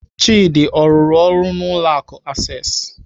Chidi ọ rụrụ ọrụ n'ụlọ akụ Access?